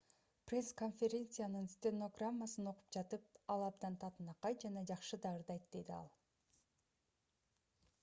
пресс-конференциянын стенограммасынан окуп жатып ал абдан татынакай жана жакшы да ырдайт - деди ал